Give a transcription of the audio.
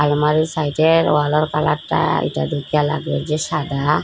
আলমারির সাইডের ওয়ালের কালারটা এটা দেখিয়া লাগে যে সাদা।